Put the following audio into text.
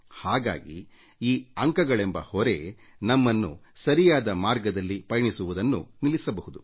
ಹಾಗಾಗಿ ಈ ಅಂಕಗಳೆಂಬ ಹೊರೆ ನಮ್ಮನ್ನು ಸರಿಯಾದ ಮಾರ್ಗದಲ್ಲಿ ಪಯಣಿಸುವುದನ್ನು ನಿಲ್ಲಿಸಬಹುದು